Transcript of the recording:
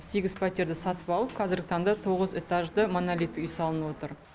сегіз пәтерді сатып алып қазіргі таңда тоғыз этажды монолитті үй салынып отыр